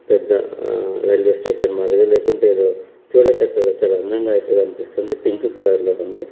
పెద హా railway station మాదిరిగా లేకుంటే యేదో చూడ చక్కగా చాలా అందంగా అయితే కనిపిస్తూంది పింక్ కలర్ లో అయితే ఉంది.